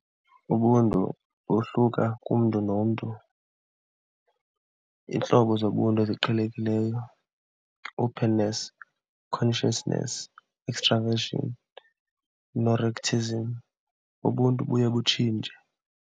Ubuntu bohluka kumntu nomntu. Iintlobo zobuntu eziqhelekileyo, openness, consciousness, extra vision, ubuntu buye butshintshe.